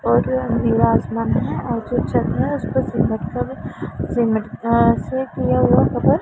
और निवास बन है और जो चल रहा हैं उसको किया हुआ कवर --